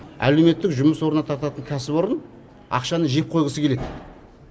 әлеуметтік жұмыс орнатататын кәсіпорын ақшаны жеп қойғысы келеді